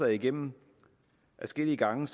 igennem adskillige gange